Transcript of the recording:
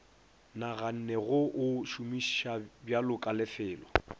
naganne go o šomišabjalo kalefelo